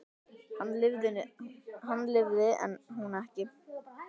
Hann lifði en hún ekki.